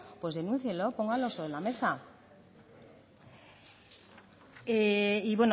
pues denúncienlo pónganlo sobre la mesa y